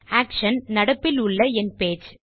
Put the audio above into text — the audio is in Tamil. ஆக்ஷன் நடப்பிலுள்ள என் பேஜ்